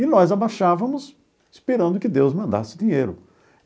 E nós abaixávamos esperando que Deus mandasse dinheiro.